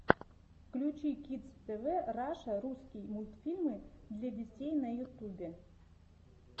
включи кидс тв раша русский мультфильмы для детей на ютубе